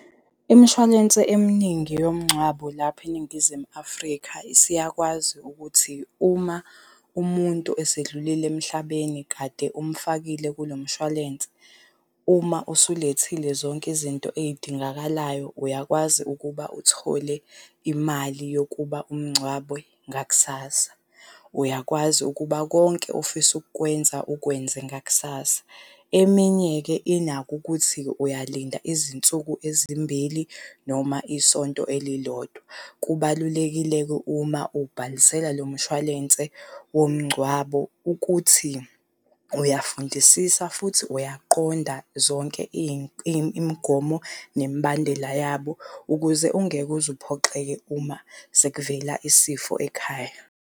Imshwalense eminingi yomgcwabo lapha eNingizimu Afrika isiyakwazi ukuthi uma umuntu esedlulile emhlabeni kade umfakile kulo mshwalense uma usulethile zonke izinto ey'dingakalayo, uyakwazi ukuba uthole imali yokuba umngcwabe ngakusasa. Uyakwazi ukuba konke ofisa ukukwenza ukwenze ngakusasa. Eminye-ke inakho ukuthi uyalinda izinsuku ezimbili noma isonto elilodwa. Kubalulekile-ke uma ubhalisela lo mshwalense womngcwabo ukuthi uyafundisisa futhi uyaqonda zonke imigomo nemibandela yabo ukuze ungeke uze uphoxeke uma sekuvela isifo ekhaya.